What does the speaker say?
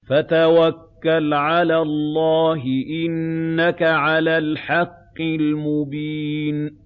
فَتَوَكَّلْ عَلَى اللَّهِ ۖ إِنَّكَ عَلَى الْحَقِّ الْمُبِينِ